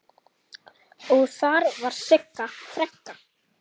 Og þar var Sigga frænka.